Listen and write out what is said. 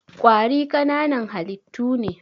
Ƙwari ƙananan halittu ne.